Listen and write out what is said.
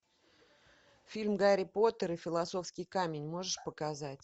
фильм гарри поттер и философский камень можешь показать